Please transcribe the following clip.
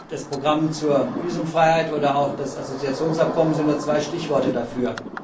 Das Programm zur Visumfreiheit oder auch das Assoziationsabkommen sind nur zwei Stichworte dafür.